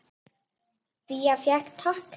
Fía fékk tak.